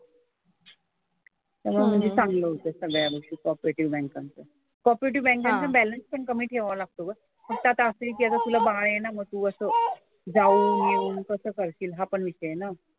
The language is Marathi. त्यामुळे म्हणजे चांगलं होतं सगळ्या गोष्टी कॉपरेटिव्ह बँकांच्या. कॉपरेटिव्ह बँकांचा बॅलन्स पण कमी ठेवावा लागतो ग. फक्त आता असं आहे की आता तुला बाळ आहे ना मग तू असं जाऊन येऊन कसं करशील हा पण एक आहे ना.